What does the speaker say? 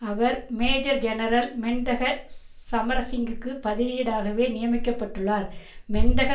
அவர் major general Mendaka சமரசிங்கவுக்கு பதிலீடாகவே நியமிக்க பட்டுள்ளார் மெந்தக